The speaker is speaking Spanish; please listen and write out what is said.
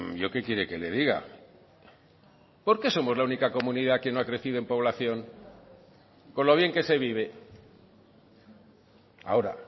yo que quiere que le diga por qué somos la única comunidad que no ha crecido en población con lo bien que se vive ahora